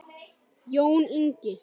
Jón Ingi.